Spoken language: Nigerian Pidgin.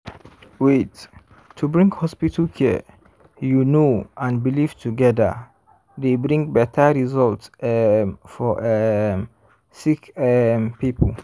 wait- to bring hospital care you know and belief togeda dey bring beta result um for um sick um poeple.